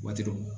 Waati dɔw